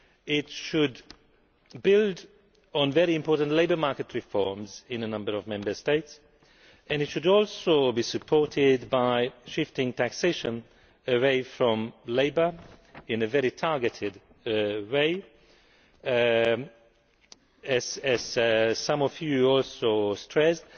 It should build on very important labour market reforms in a number of Member States and it should also be supported by shifting taxation away from labour in a very targeted way, as some of you also stressed.